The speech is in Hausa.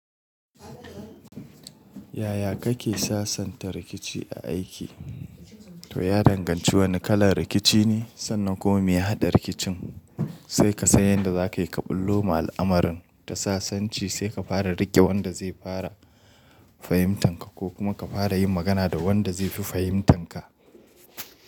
Yaya kake sasanta rikici a aiki? To ya danganci wane kalan rikici ne sannan kuma me ya hada rikicin, sai ka san yanda za ka yi ƙa ɓullo ma al'amarin ta sasanci sai ka fara riƙe wanda zai fara fahimtanka ko kuma ka fara yin magana da wanda zai fi fahimtanka.